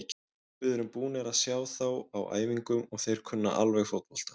Við erum búnir að sjá þá á æfingum og þeir kunna alveg fótbolta.